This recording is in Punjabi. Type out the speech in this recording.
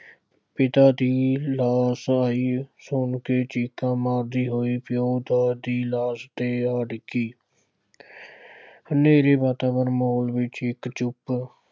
ਪਿਤਾ ਦੀ ਲਾਸ਼ ਆਈ ਸੁਣ ਕੇ ਚੀਕਾਂ ਮਾਰਦੀ ਹੋਈ ਪਿਉ ਦੀ ਲਾਸ ਤੇ ਆ ਡਿੱਗੀ। ਹਨੇਰੇ ਵਾਤਾਵਰਨ ਮਾਹੌਲ ਵਿੱਚ ਇੱਕ ਚੁੱਪ